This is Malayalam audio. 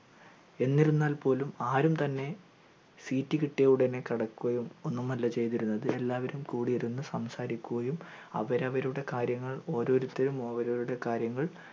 എന്നിരുന്നാൽ പോലും ആരും തന്നെ seat കിട്ടിയ ഉടനെ കിടക്കുകയും ഒന്നുമല്ല ച്യ്തിരുന്നത് എല്ലാവരും കൂടിരുന്നു സംസാരിക്കുകയും അവരവരുടെ കാര്യങ്ങൾ ഓരോരുത്തരും ഓരോരുത്തരുടെ കാര്യങ്ങൾ